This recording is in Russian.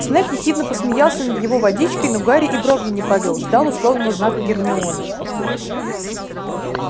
снегг ехидно посмеялся над его водичкой но гарри и бровью не повёл ждал условного знака от гермионы